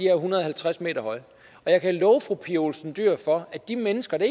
er en hundrede og halvtreds m høje og jeg kan love fru pia olsen dyhr for at de mennesker det